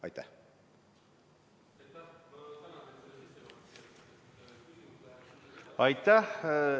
Aitäh!